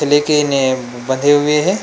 लेकिन ए बंधे हुए हे।